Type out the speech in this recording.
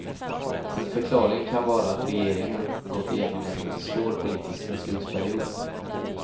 En förklaring kan vara att regeringen gått igenom en svår politisk beslutsperiod.